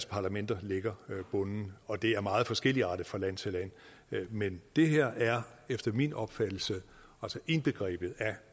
parlamenterne lægger bunden og det er meget forskelligartet fra land til land men det her er efter min opfattelse indbegrebet af